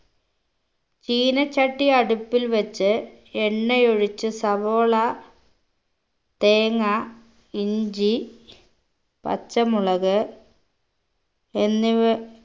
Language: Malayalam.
ചീനച്ചട്ടി അടുപ്പിൽ വെച്ച് എണ്ണയൊഴിച്ച് സവോള തേങ്ങ ഇഞ്ചി പച്ചമുളക് എന്നിവ